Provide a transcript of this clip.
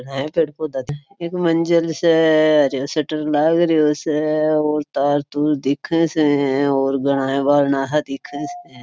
यहाँ पेड़ पौधा एक मंज़िल से हरो शटर लागरिओ स और तार तुर दिखे से और घणा दिखे स।